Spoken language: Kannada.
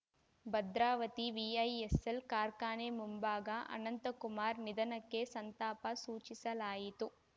ಭದ್ರಾವತಿ ವಿಐಎಸ್‌ಎಲ್‌ ಕಾರ್ಖಾನೆ ಮುಂಭಾಗ ಅನಂತಕುಮಾರ್‌ ನಿಧನಕ್ಕೆ ಸಂತಾಪ ಸೂಚಿಸಲಾಯಿತು